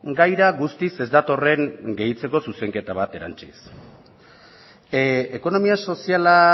gaira guztiz ez datorren gehitzeko zuzenketa bat erantsiz ekonomia soziala